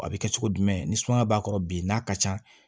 A bɛ kɛ cogo jumɛn ni sumaya b'a kɔrɔ bi n'a ka can